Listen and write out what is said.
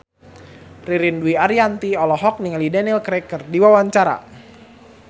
Ririn Dwi Ariyanti olohok ningali Daniel Craig keur diwawancara